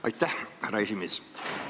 Aitäh, härra esimees!